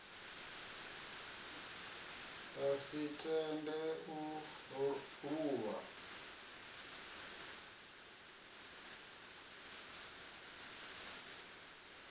a si tende u luvha